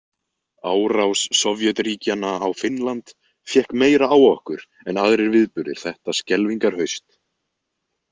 Árás Sovétríkjanna á Finnland fékk meira á okkur en aðrir viðburðir þetta skelfingarhaust.